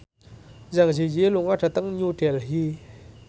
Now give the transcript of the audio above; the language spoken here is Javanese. Zang Zi Yi lunga dhateng New Delhi